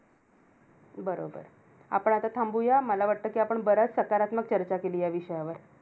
बरोबर. आपण आता थांबूया. मला वाटतं कि आपण बऱ्याच सकारात्मक चर्चा केली ह्या विषयावर.